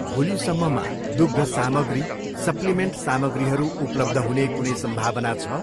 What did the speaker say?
भोलि सम्ममा दुग्ध सामग्री, सप्लिमेन्ट सामग्रीहरू उपलब्ध हुने कुनै सम्भावना छ?